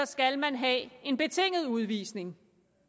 skal man have en betinget udvisning